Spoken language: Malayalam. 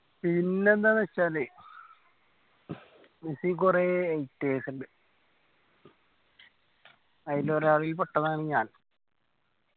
പിന്നെന്താന്ന് വെച്ചാല് മെസ്സിക്ക് കൊറേ haters ഇണ്ട്. അയില് ഒരാൾ ഈ പൊട്ടനാണ് ഞാൻ.